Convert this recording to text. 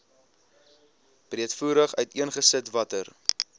breedvoerig uiteengesit watter